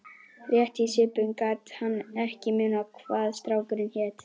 Rétt í svipinn gat hann ekki munað hvað strákurinn hét.